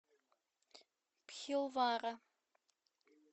бхилвара